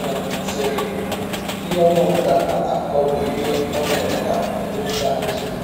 um sịrị: “ Ihe ọnye ọ bụla na - akọ bụ ihe ọ mere ná ngwụcha izụ.